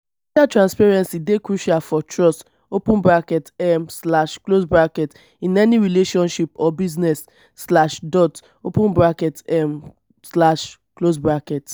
financial transparency dey crucial for trust um in any relationship or business. um